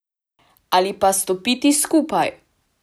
Ali pa stopiti skupaj!